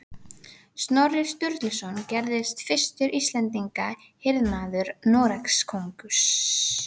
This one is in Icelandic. Snorri Sturluson gerðist fyrstur Íslendinga hirðmaður Noregskonungs